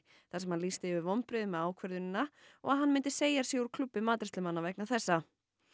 þar sem hann lýsti yfir vonbrigðum með ákvörðunina og að hann myndi segja sig úr klúbbi matreiðslumanna vegna þessa